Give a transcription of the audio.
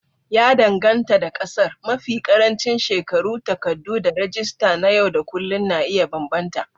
Ya danganta da ƙasar, mafi ƙarancin shekaru, takardu, da rajista na yau da kullun na iya bambanta.